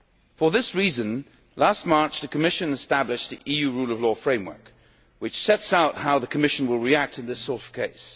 For this reason, last March the Commission established the EU Rule of Law Framework, which sets out how the Commission will react in this sort of case.